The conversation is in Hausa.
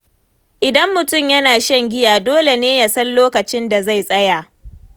Idan mutum yana shan giya, dole ne ya san lokacin da zai tsaya.